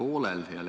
Kuulata tasub.